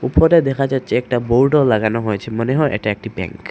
উপরে দেখা যাচ্ছে একটা বোর্ডও লাগানো হয়েছে মনে হয় এটা একটি ব্যাঙ্ক ।